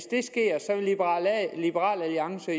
liberal alliance